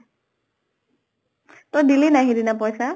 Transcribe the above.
তই দিলি নাই সেই দিনা পইছা?